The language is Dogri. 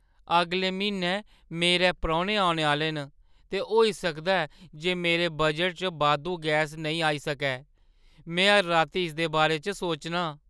अगले म्हीनै मेरै परौह्‌ने औने आह्‌ले न, ते होई सकदा ऐ जे मेरे बजटै च बाद्धू गैस नेईं आई सकै। में हर राती इसदे बारे च सोचनां।